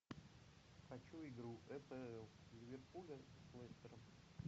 хочу игру апл ливерпуля с лестером